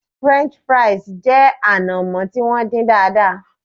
French fries jẹ anamo ti won din daadaa